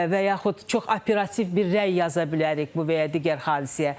Və yaxud çox operativ bir rəy yaza bilərik bu və ya digər hadisəyə.